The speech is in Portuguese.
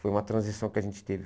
Foi uma transição que a gente teve.